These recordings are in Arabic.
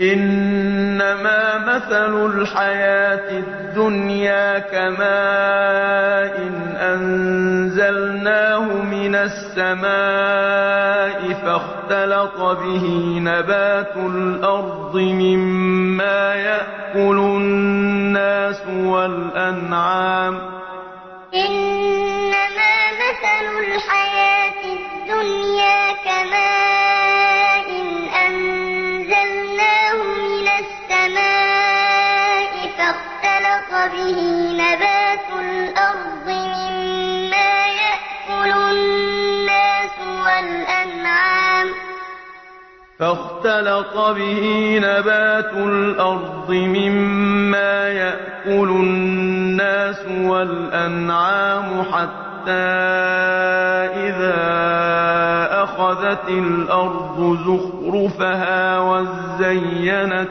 إِنَّمَا مَثَلُ الْحَيَاةِ الدُّنْيَا كَمَاءٍ أَنزَلْنَاهُ مِنَ السَّمَاءِ فَاخْتَلَطَ بِهِ نَبَاتُ الْأَرْضِ مِمَّا يَأْكُلُ النَّاسُ وَالْأَنْعَامُ حَتَّىٰ إِذَا أَخَذَتِ الْأَرْضُ زُخْرُفَهَا وَازَّيَّنَتْ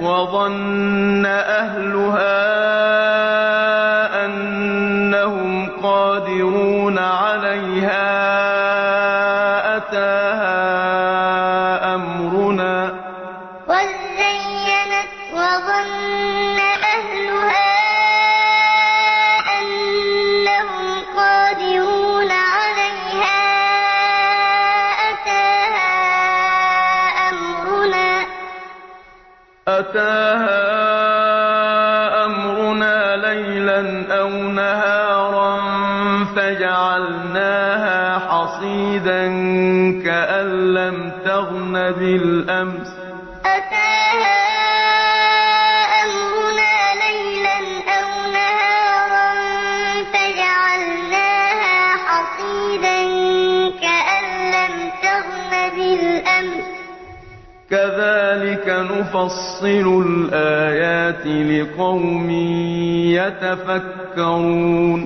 وَظَنَّ أَهْلُهَا أَنَّهُمْ قَادِرُونَ عَلَيْهَا أَتَاهَا أَمْرُنَا لَيْلًا أَوْ نَهَارًا فَجَعَلْنَاهَا حَصِيدًا كَأَن لَّمْ تَغْنَ بِالْأَمْسِ ۚ كَذَٰلِكَ نُفَصِّلُ الْآيَاتِ لِقَوْمٍ يَتَفَكَّرُونَ إِنَّمَا مَثَلُ الْحَيَاةِ الدُّنْيَا كَمَاءٍ أَنزَلْنَاهُ مِنَ السَّمَاءِ فَاخْتَلَطَ بِهِ نَبَاتُ الْأَرْضِ مِمَّا يَأْكُلُ النَّاسُ وَالْأَنْعَامُ حَتَّىٰ إِذَا أَخَذَتِ الْأَرْضُ زُخْرُفَهَا وَازَّيَّنَتْ وَظَنَّ أَهْلُهَا أَنَّهُمْ قَادِرُونَ عَلَيْهَا أَتَاهَا أَمْرُنَا لَيْلًا أَوْ نَهَارًا فَجَعَلْنَاهَا حَصِيدًا كَأَن لَّمْ تَغْنَ بِالْأَمْسِ ۚ كَذَٰلِكَ نُفَصِّلُ الْآيَاتِ لِقَوْمٍ يَتَفَكَّرُونَ